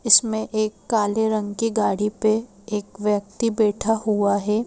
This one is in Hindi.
इसमें एक काले रंग की गाड़ी पे एक व्यक्ति बैठा हुआ हैं।